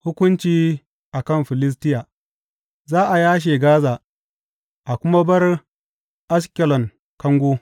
Hukunci a kan Filistiya Za a yashe Gaza a kuma bar Ashkelon kango.